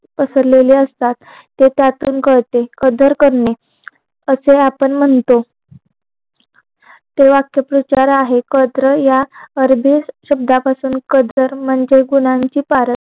असलेले असतात हाच यातून कळते कदर करणे असं आपण म्हणतो ते वाक्य प्रचार आहे कद्र या अर्धे शब्दापासून कदर म्हणजे तर शब्दांची पारख